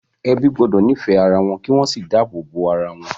Ebi gbọ́dọ̀ nífẹ̀ẹ́ ara wọn kí wọ́n sì dáàbò bo ara wọn.